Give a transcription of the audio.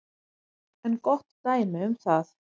er gott dæmi um það.